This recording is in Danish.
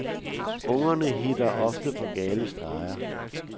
Ungerne hitter ofte på gale streger.